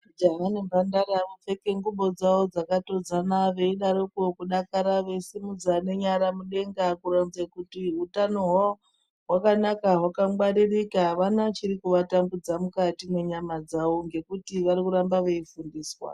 Jaha nemhandara vopfeke ngubo dzawo dzakatodzana veidarokwo kudakara veisumudza nenyara mudenga kuronze kuti utaño hwawo hwakanaka hwakangwaririka apana chiri kuatambudza mukati mwenyàma dzawo ngekuti vari kuramba veifundiswa .